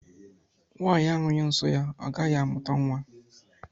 Nwanyi ahughi nsọ ya agaghị amụta nwa